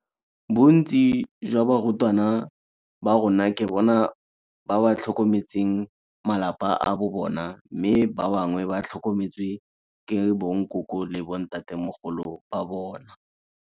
Bontsi jwa barutwana ba rona ke bona ba ba tlhokometseng malapa a bo bona mme ba bangwe ba tlhokometswe ke bonkoko le bontatemogolo ba bona.